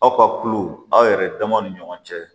Aw ka kulu aw yɛrɛ damaw ni ɲɔgɔn cɛ